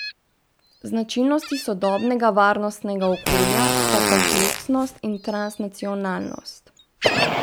Značilnosti sodobnega varnostnega okolja sta kompleksnost in transnacionalnost.